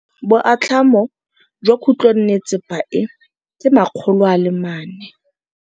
Boatlhamô jwa khutlonnetsepa e, ke 400.